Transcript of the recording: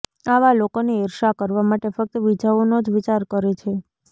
આવા લોકોને ઈર્ષ્યા કરવા માટે ફક્ત બીજાઓનો જ વિચાર કરે છે